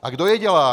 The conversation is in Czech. A kdo je dělá?